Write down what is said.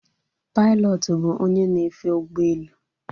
Pilọtụ bụ onye na-efe ụgbọelu